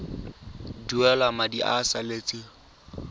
duela madi a a salatseng